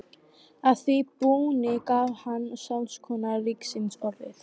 Að því búni gaf hann saksóknara ríkisins orðið.